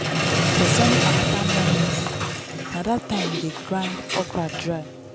for sunny harmattan mornings na that time we dey grind okra dry.